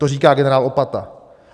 To říká generál Opata.